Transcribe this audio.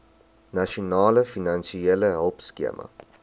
nasionale finansiële hulpskema